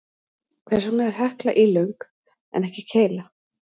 Hvers vegna er Hekla ílöng en ekki keila?